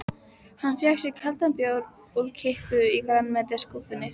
Hann fékk sér kaldan bjór úr kippu í grænmetisskúffunni.